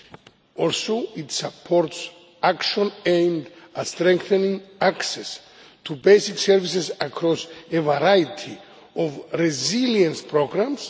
It also supports actions aimed at strengthening access to basic services across a variety of resilience programmes.